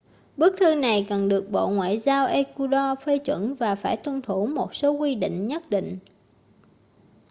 bức thư này cần được bộ ngoại giao ecuado phê chuẩn và phải tuân thủ một số quy định nhất định